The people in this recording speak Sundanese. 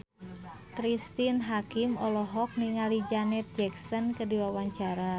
Cristine Hakim olohok ningali Janet Jackson keur diwawancara